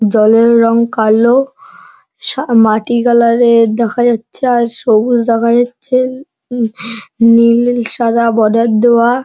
জলের রং কালো সা মাটি কালার -এর দেখা যাচ্ছে আর সবুজ দেখা যাচ্ছে উ নীল সাদা বর্ডার দেওয়া।